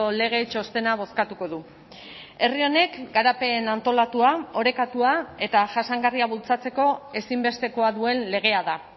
lege txostena bozkatuko du herri honek garapen antolatua orekatua eta jasangarria bultzatzeko ezinbestekoa duen legea da